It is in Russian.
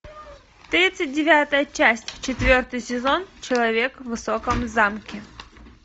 тридцать девятая часть четвертый сезон человек в высоком замке